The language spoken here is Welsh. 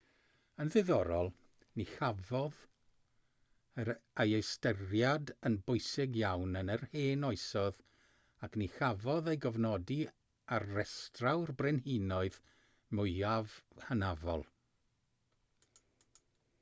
yn ddiddorol ni chafodd ei ystyried yn bwysig iawn yn yr hen oesoedd ac ni chafodd ei gofnodi ar restrau'r brenhinoedd mwyaf hynafol